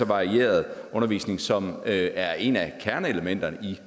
varieret undervisning som er et af kerneelementerne i